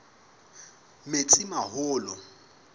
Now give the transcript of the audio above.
metsimaholo